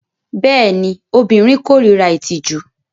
Bẹẹni, obirin korira itiju